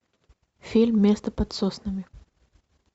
фильм место под соснами